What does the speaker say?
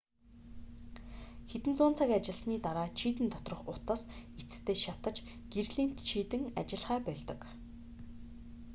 хэдэн зуун цаг ажилласаны дараа чийдэн доторх утас эцэстээ шатаж гэрлийн чийдэн ажиллахаа больдог